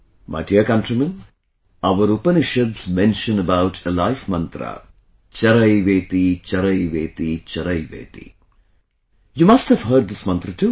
My dear countrymen, our Upanishads mention about a life mantra 'CharaivetiCharaivetiCharaiveti' you must have heard this mantra too